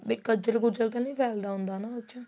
B ਕੱਝਲ ਕੁਝਲ ਤਾਂ ਨਹੀਂ ਫੈਲਦਾ ਹੁੰਦਾ ਹਨਾ ਵਿੱਚ